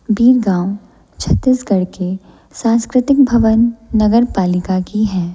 भी गांव छत्तीसगढ़ के सांस्कृतिक भवन नगर पालिका की है।